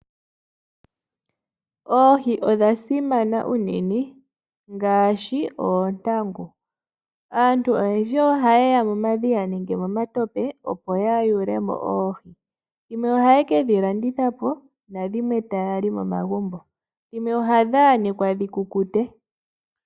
Oohi odha simana unene ngaashi oontangu. Aantu oyendji ohaya yi momadhiya nenge momatope, opo ya yulemo oohi. Dhimwe ohaye kedhi landitha po yo dhimwe taya li momagumbo, nadhimwe ohadhi yanekwa opo dhikukute.